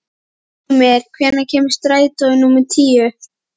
Hymir, hvenær kemur strætó númer tíu?